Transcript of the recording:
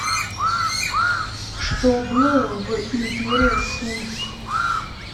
что было в империя сун